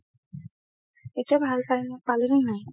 এতিয়া ভাল পা~ পালে নে নাই